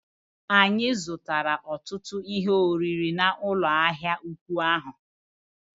Anyị zụrụ ọtụtụ ihe oriri n'ụlọ ahịa ụkwụ ahụ